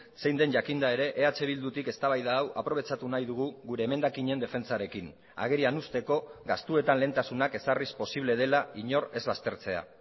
zein den jakinda ere eh bildutik eztabaida hau aprobetxatu nahi dugu gure emendakinen defentsarekin agerian uzteko gastuetan lehentasunak ezarriz posible dela inor ez baztertzea